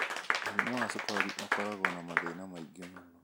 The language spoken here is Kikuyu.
Mũrimũ wa cukari ũkoragwo na mathĩna maingĩ mũno.